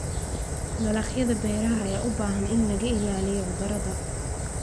Dalagyada beeraha ayaa u baahan in laga ilaaliyo cudurrada.